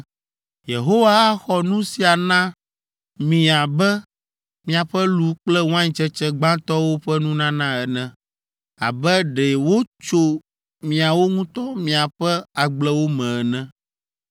Yehowa axɔ nu sia na mi abe miaƒe lu kple waintsetse gbãtɔwo ƒe nunana ene, abe ɖe wotso miawo ŋutɔ miaƒe agblewo me ene.